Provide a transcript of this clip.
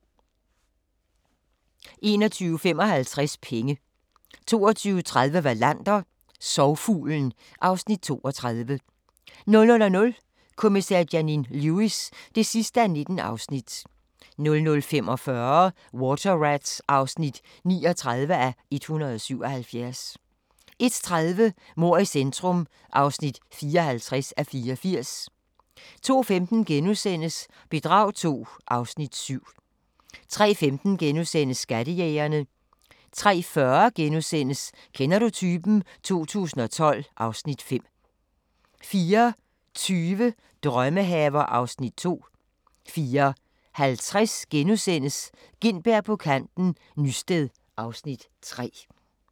21:55: Penge 22:30: Wallander: Sorgfuglen (Afs. 32) 00:00: Kommissær Janine Lewis (19:19) 00:45: Water Rats (39:177) 01:30: Mord i centrum (54:84) 02:15: Bedrag II (Afs. 7)* 03:15: Skattejægerne * 03:40: Kender du typen? 2012 (Afs. 5)* 04:20: Drømmehaver (Afs. 2) 04:50: Gintberg på kanten - Nysted (Afs. 3)*